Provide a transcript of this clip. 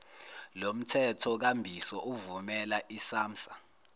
lomthethokambiso uvumela isamsa